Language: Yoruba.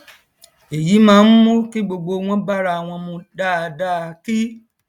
èyí máà nmú kí gbogbo wọn bárawọn mu dáadáa kí